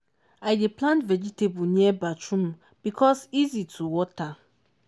i dey plant vegetable near bathroom because easy to water.